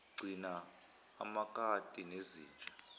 gcina amakati nezinja